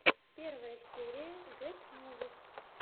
первая серия гет мувис